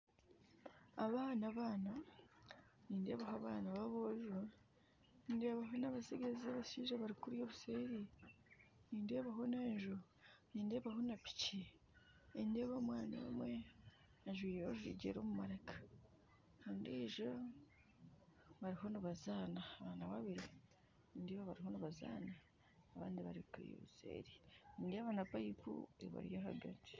Abaana abaana nindeebaho abaana ba aboojo, ndeebaho na abashaija bari kuriya obuseeri, nindeebaho n'enju nindeebaho na piki nindeeba omwana omwe ajwaire orujegyere omu maraka ondiijo bariho nibazaana abaana babiri bariho nibazaana bari kuri obuseeri nindeeba na payipu ebari ahagati.